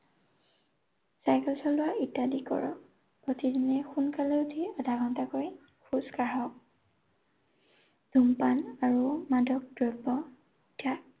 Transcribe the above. Cycle চলোৱা ইত্যাদি কৰক। প্ৰতিদিনেই সোনকালে উঠি আধা ঘণ্টাকৈ খোজ কাঢ়ক। ধূমপান আৰু মাদক দ্ৰব্য ত্যাগ